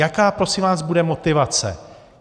Jaká prosím vás bude motivace?